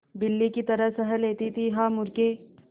बिल्ली की तरह सह लेती थीहा मूर्खे